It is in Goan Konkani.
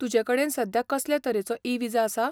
तुजे कडेन सद्या कसले तरेचो ई विजा आसा?